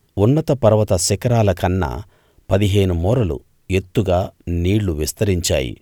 ఉన్నత పర్వత శిఖరాలకన్నా పదిహేను మూరలు ఎత్తుగా నీళ్ళు విస్తరించాయి